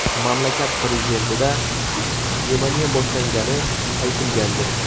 Mamlakat prezidentida pnevmoniya boshlangani aytilgandi.